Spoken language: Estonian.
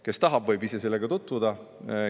Kes tahab, võib ise sellega tutvuda.